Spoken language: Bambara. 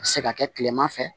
A bɛ se ka kɛ kilema fɛ